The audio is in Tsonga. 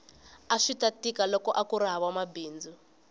aswita tika loko akuri hava mabindzu